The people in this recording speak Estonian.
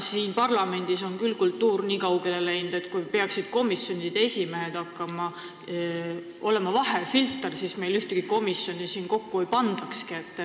Siin parlamendis on küll kultuur nii kaugele läinud, et kui komisjonide esimehed peaksid olema vahefilter, siis meil ühtegi komisjoni kokku ei pandakski.